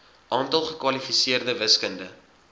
aantal gekwalifiseerde wiskunde